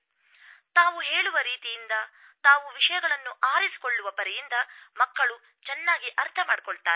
ತಾವು ಇದರ ರಹಸ್ಯವನ್ನು ನಮ್ಮೊಡನೆ ಹಂಚಿಕೊಳ್ಳುವಿರಾ ತಾವು ಹೇಳುವ ರೀತಿಯಿಂದ ತಾವು ವಿಷಯಗಳನ್ನು ಆರಿಸಿಕೊಳ್ಳುವ ಪರಿಯಿಂದ ಮಕ್ಕಳು ಚೆನ್ನಾಗಿ ಅರ್ಥ ಮಾಡಿಕೊಳ್ಳುತ್ತಾರೆ